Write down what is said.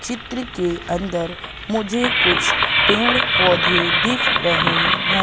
चित्र के अंदर मुझे कुछ पेड़ पौधे दिख रहे हैं।